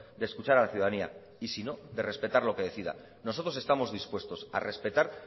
de escuchar a la ciudadanía y si no de respetar lo que decida nosotros estamos dispuestos a respetar